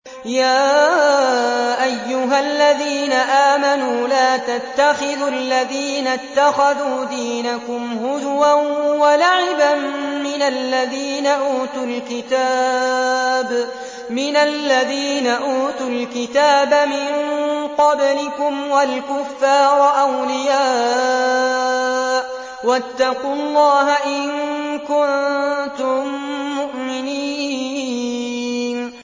يَا أَيُّهَا الَّذِينَ آمَنُوا لَا تَتَّخِذُوا الَّذِينَ اتَّخَذُوا دِينَكُمْ هُزُوًا وَلَعِبًا مِّنَ الَّذِينَ أُوتُوا الْكِتَابَ مِن قَبْلِكُمْ وَالْكُفَّارَ أَوْلِيَاءَ ۚ وَاتَّقُوا اللَّهَ إِن كُنتُم مُّؤْمِنِينَ